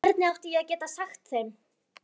En hvernig átti ég að geta sagt þeim-?